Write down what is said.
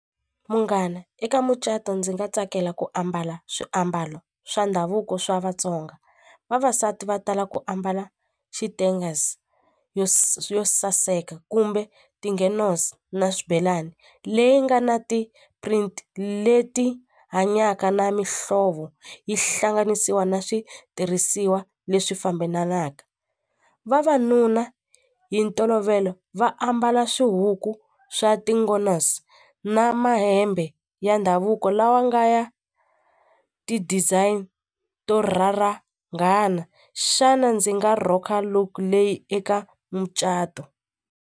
Munghana eka mucato ndzi nga tsakela ku ambala swiambalo swa ndhavuko swa Vatsonga vavasati va tala ku ambala yo saseka kumbe na swibelani leyi nga na ti print leti hanyaka na mihlovo yi hlanganisiwa na switirhisiwa leswi fambelanaka vavanuna hi ntolovelo va ambala swihuku swa na mahembe ya ndhavuko lawa nga ya ti-design to rharangana xana ndzi nga rock-a look leyi eka mucato.